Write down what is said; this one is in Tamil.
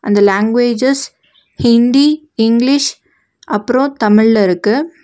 இந்த லாங்குவேஜஸ் ஹிண்டி இங்லிஷ் அப்றோ தமிழ்ல இருக்கு.